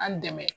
An dɛmɛ